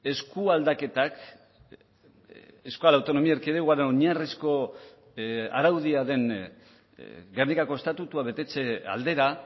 eskualdaketak euskal autonomia erkidegoaren oinarrizko araudia den gernikako estatutua betetze aldera